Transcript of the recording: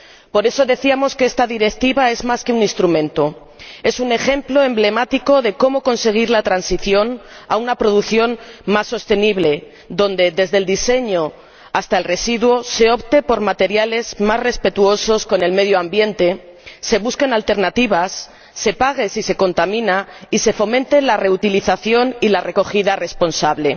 Por eso decíamos que esta Directiva es más que un instrumento, es un ejemplo emblemático de cómo conseguir la transición a una producción más sostenible, en la que ―desde el diseño hasta el residuo― se opte por materiales más respetuosos con el medio ambiente, se busquen alternativas, se pague si se contamina y se fomenten la reutilización y la recogida responsable.